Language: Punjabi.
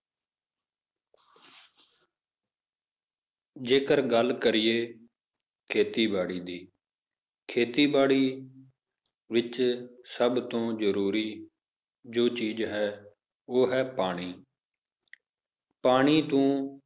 ਜੇਕਰ ਗੱਲ ਕਰੀਏ ਖੇਤੀਬਾੜੀ ਦੀ ਖੇਤੀਬਾੜੀ ਵਿੱਚ ਸਭ ਤੋਂ ਜ਼ਰੂਰੀ ਜੋ ਚੀਜ਼ ਹੈ ਉਹ ਹੈ ਪਾਣੀ ਪਾਣੀ ਤੋਂ